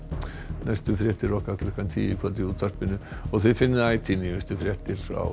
næstu fréttir okkar klukkan tíu í kvöld í útvarpinu og þið finnið ætíð nýjustu fréttir á